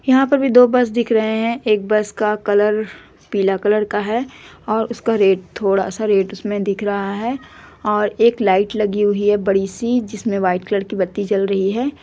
यहाॅं पर भी दो बस दिख रहे हैं एक बस का कलर पीला कलर का है और उसका रेड थोड़ा-सा रेड उसमें दिख रहा है और एक लाईट लगी हुई है बड़ी-सी जिसमें व्हाइट कलर की बत्ती जल रही है।